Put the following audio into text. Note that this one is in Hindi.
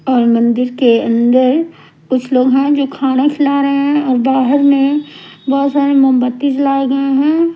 और मंदिर के अंदर कुछ लोग हैं जो खाना खिला रहे हैं और बाहर में है बोहोत सारे मोमबत्ती जलाए गए हैं।